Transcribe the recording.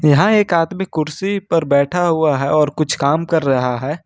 यहां एक आदमी कुर्सी पर बैठा हुआ है और कुछ काम कर रहा है।